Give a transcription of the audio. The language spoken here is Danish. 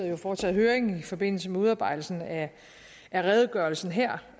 jo foretaget høring i forbindelse med udarbejdelsen af redegørelsen her